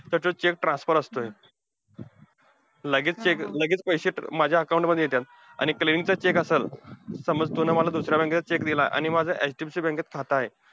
तर तो cheque transfer असतोय. लगेच cheque, लगेच पैसे माझ्या account मध्ये येत्यात. आणि चा check असलं. समज तू ना मला दुसऱ्या bank चा cheque दिला आणि माझं HDFC bank मध्ये खातं आहे,